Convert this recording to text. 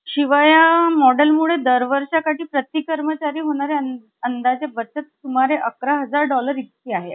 येईल असे कर्वे यांना वाटले होते. पण मावशी येऊ शकली नाही. मावशीच या भाच्यावर फार प्रेम होतं. पण पुनर्विवाहानंतर ते प्रेम,